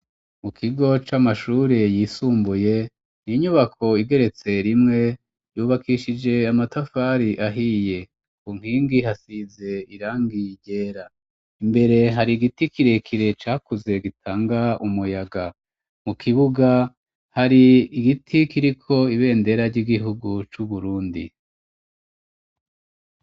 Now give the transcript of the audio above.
Mu kigo c'amashuri yisumbuye inyubako igeretse rimwe yubakishije amatafari ahiye ku nkingi hasize irangiye ryera imbere hari giti kirekire cakuze gitanga umuyaga mu kibuga hari igiti kiriko ibendera ry'igihugu cu Burundi.